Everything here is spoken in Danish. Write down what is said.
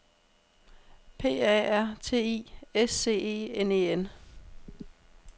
P A R T I S C E N E N